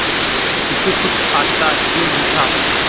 उसे कुछ आता ही नहीं था